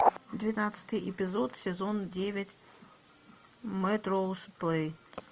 девятнадцатый эпизод сезон девять мелроуз плэйс